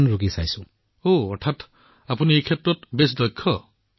প্ৰধানমন্ত্ৰীঃ ওহ ইয়াৰ অৰ্থ হৈছে আপুনি ইয়াক বহুত আয়ত্ত কৰিছে